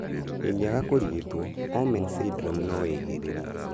Ingiaga kurigitwo, Omenn syndrome noĩhĩrĩrie